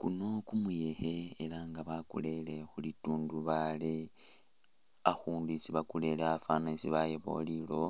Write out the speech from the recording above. Kuno kumuyekhe ala nga bakurele khu litundubali, akhundu isi bakurele afwanile isi bayabawo lilowo